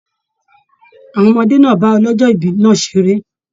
Àwọn ọmọdé náà bá ọlọjọ ibí náà seré.